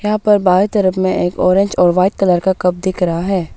यहां पर बाएं तरफ में एक ऑरेंज और वाइट कलर का कप दिख रहा है।